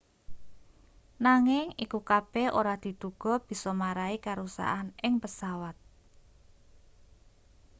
nanging iku kabeh ora diduga bisa marai karusakan ing pesawat